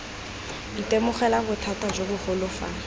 itemogela bothata jo bogolo fa